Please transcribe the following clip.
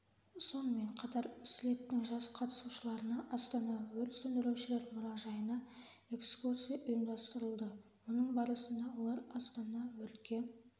сонымен қатар слеттің жас қатысушыларына астана өрт сөндірушілер мұражайына экскурсия ұйымдастырылды оның барысында олар астана өртке